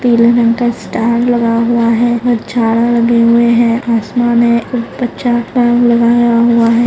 पीले रंग का स्टार लगा हुआ है हर चार लगे हुए है आसमान है बहुत अच्छा स्टॅन्ड लगाया हुआ है।